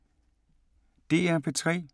DR P3